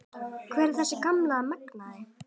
Hvar er þessi gamli magnaði?